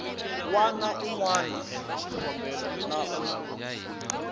wana un wana na un